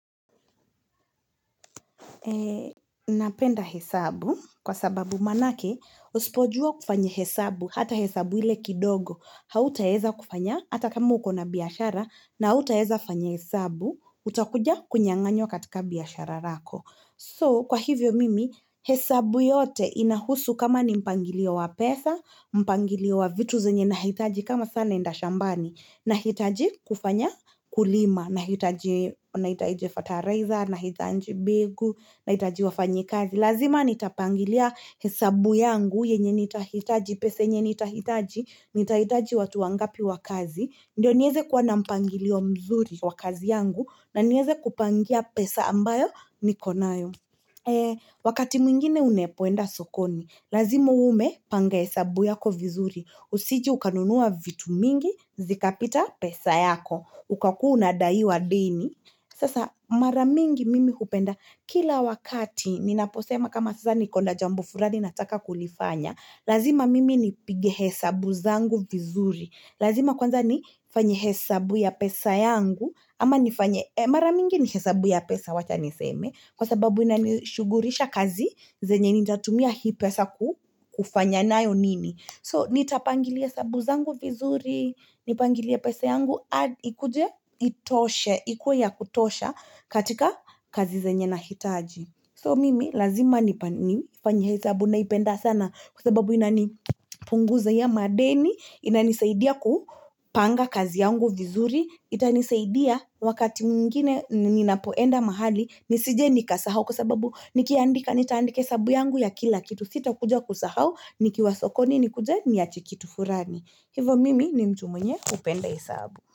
Napenda hesabu kwa sababu maanake usipojua kufanya hesabu hata hesabu ile kidogo hautaweza kufanya hata kama uko na biashara na hautaweza kufanya hesabu utakuja kunyang'anywa katika biashara yako. So, kwa hivyo mimi, hesabu yote inahusu kama ni mpangilio wa pesa, mpangilio wa vitu zenye nahitaji kama sana naenda shambani, nahitaji kufanya kulima, nahitaji ferta raiser, nahitaji mbegu, nahitaji wafanya kazi. Lazima nitapangilia hesabu yangu yenye nitahitaji, pesa yenye nitahitaji, nitahitaji watu wangapi wa kazi. Ndiyo niweze kuwa na mpangilio mzuri wa kazi yangu na niweze kupangia pesa ambayo niko nayo. Wakati mwingine unapoenda sokoni, lazima uwe umepanga hesabu yako vizuri. Usije ukanunua vitu vingi, vikapita pesa yako. Ukakuwa unadaiwa deni. Sasa mara mingi mimi hupenda kila wakati, ninaposema kama sasa niko na jambo fulani nataka kulifanya, lazima mimi nipige hesabu zangu vizuri, lazima kwanza nifanye hesabu ya pesa yangu, ama nifanye, mara mingi ni hesabu ya pesa wacha niseme, kwa sababu inanishughulisha kazi, zenye nitatumia hii pesa kufanya nayo nini. So nitapangilia hesabu zangu vizuri, nipangilia pesa yangu, ikuja, itoshe, ikuwa ya kutosha katika kazi zenye na hitaji. So mimi lazima nifanye hesabu naipenda sana kwa sababu inanipunguzia madeni, ina nisaidia kupanga kazi yangu vizuri, itanisaidia wakati mwingine ninapoenda mahali nisije nika sahau kwa sababu nikiandika nitaandika hesabu yangu ya kila kitu sita kuja kusahau nikiwasokoni nikuje niache kitu fulani hivo mimi ni mtu mwenye kupenda hesabu.